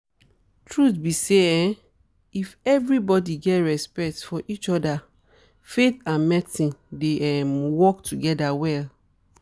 truth be say um if everybody get respect for each other faith and medicine dey um work together well